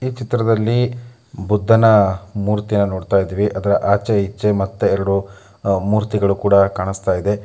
ಈ ಚಿತ್ರದಲ್ಲಿ ಬುದ್ದನ ಮೂರ್ತಿಯನ್ನು ನೋಡ್ತಾ ಇದ್ದೀವಿ ಅದರ ಆಚೆ ಈಚೆ ಮತ್ತೆ ಎರಡು ಮೂರ್ತಿಗಳು ಕೂಡ ಕಾಣಿಸ್ತಾ ಇದೆ.